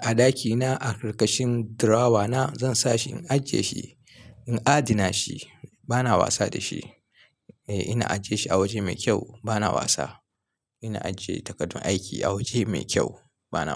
a ɗakina a ƙarƙashin drawer na zan sa shi. In ajiyeshi in adana shi bana wasa da shi. Ina ajiyeshi a waje mai kyau bana wasa. Ina ajiye takardun aiki a waje mai kyau bana.